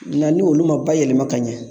Nka ni olu ma ba yɛlɛma ka ɲɛ